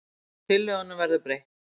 Tillögunum verður breytt